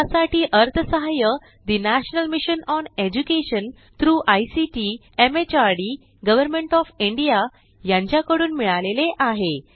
यासाठी अर्थसहाय्य national mission on education through ICT MHRD government of India यांच्याकडून मिळालेले आहे